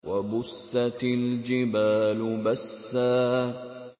وَبُسَّتِ الْجِبَالُ بَسًّا